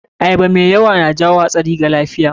Ayaba mai yawa na jawo hatsari wa lafiya.